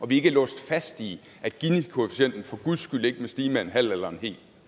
vi ikke er låst fast i at ginikoefficienten for guds skyld ikke må stige med en halv eller